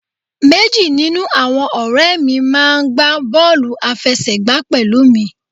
Meji ninu awọn ọrẹ mi maa gba bọọlu afẹsẹgba pẹlu mi